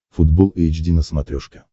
футбол эйч ди на смотрешке